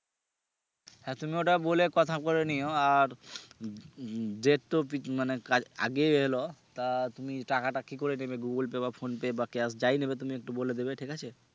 হ্যাঁ তুমি ওটা বলে কথা বলে নিও আর উম যেহেতু পিকনিক মানে আগে এলো তা তুমি টাকা টা তুমি কি করে নেবে Google Pay বা Phonepe বা cash যাই নিবে তুমি একটু বলে দিবে ঠিক আছে